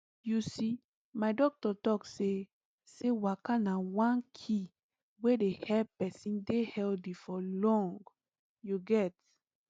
you see my doctor talk say say waka na one key wey dey help person dey healthy for long you get